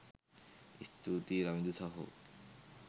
ස්තුතියි රවිදු සහෝ